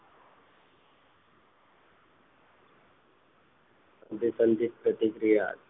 અનુસંધિત પ્રતિક્રિયા